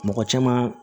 Mɔgɔ caman